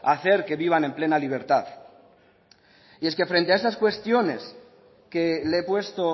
hacer que vivan en plena libertad y es que frente a estas cuestiones que le he puesto